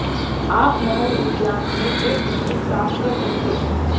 आप महल उद्यान में एक पिकनिक प्राप्त कर सकते हैं